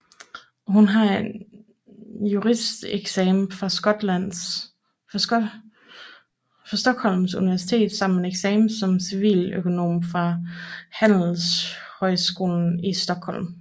Hun har en juristeksamen fra Stockholms Universitet samt en eksamen som civiløkonom fra Handelshögskolan i Stockholm